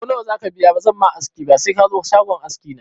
Ko nawa zaka biya ba zan ma aski ba se kazo shagon aski na